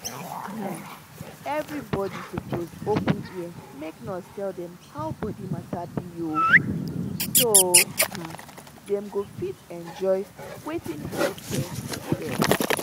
everybody suppose open ear make nurse tell dem how body matter be o so um dem go fit enjoy wetin health care get.